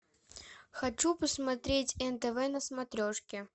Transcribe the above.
хочу посмотреть нтв на смотрешке